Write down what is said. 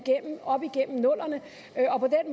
op igennem nullerne